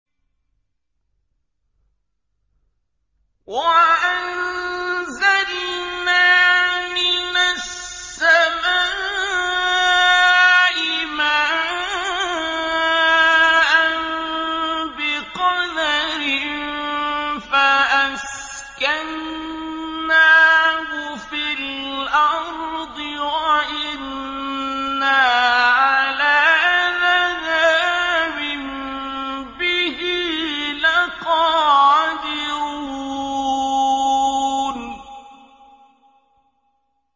وَأَنزَلْنَا مِنَ السَّمَاءِ مَاءً بِقَدَرٍ فَأَسْكَنَّاهُ فِي الْأَرْضِ ۖ وَإِنَّا عَلَىٰ ذَهَابٍ بِهِ لَقَادِرُونَ